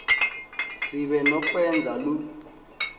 sibe nokwenza loo